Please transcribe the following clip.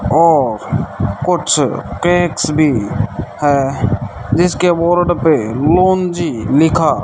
और कुछ कैट्स भी दिखाया जिसके बोर्ड पे ओम जी लिखा --